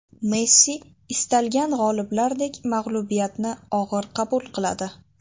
Messi, istalgan g‘oliblardek mag‘lubiyatni og‘ir qabul qiladi.